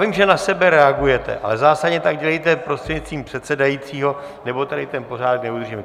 Vím, že na sebe reagujete, ale zásadně tak dělejte prostřednictvím předsedajícího, nebo tady ten pořádek neudržím.